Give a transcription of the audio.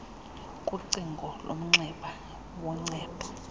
kucingo lomnxeba woncedo